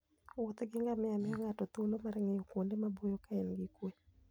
Wuoth gi ngamia miyo ng'ato thuolo mar ng'iyo kuonde maboyo ka en gi kuwe.